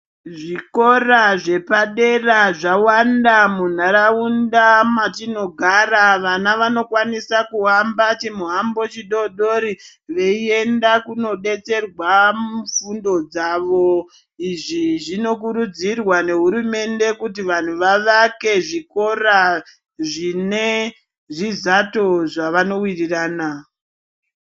Zvikora zvepa dera zvawanda mu ndaraunda matino gara vana vano kwanisa kuhamba chi muhambo chi dodori veyi enda kuno detserwa fundo dzavo izvi zvino kurudzirwa ne hurumende kuti vanhu vavake zvikora zvine zvi zato zvavano wirirana.